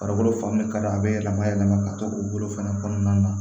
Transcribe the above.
Farikolo fan bɛɛ ka d'a bɛ yɛlɛma yɛlɛma ka to u bolo fana kɔnɔna na